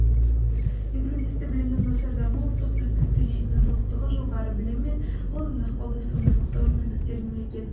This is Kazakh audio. инклюзивті білімнің нашар дамуы ұлттық біліктілік жүйесінің жоқтығы жоғары білім мен ғылымның ықпалдасуының жоқтығы мүмкіндіктер мемлекет